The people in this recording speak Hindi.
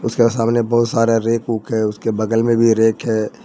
सामने बहुत सारे रैक ओक है उसके बगल में भी रैक है।